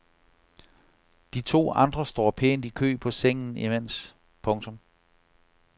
De to andre står pænt i kø på sengen imens. punktum